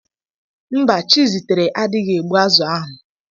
Mba, Chizitere adịghị egbu azụ̀ ahụ.